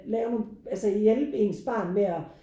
Lav nu altså hjælpe ens barn med at